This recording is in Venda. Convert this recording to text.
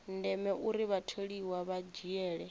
ndeme uri vhatholiwa vha dzhiele